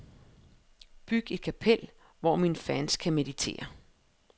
Byg et kapel, hvor mine fans kan meditere.